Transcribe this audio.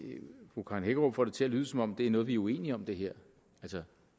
fru karen hækkerup får det til at lyde som om det er noget vi er uenige om det her